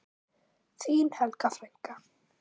Þín Helga frænka.